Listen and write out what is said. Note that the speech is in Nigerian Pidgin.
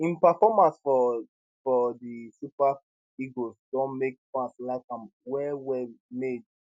im performances for for di super eagles don make fans like am wellwell made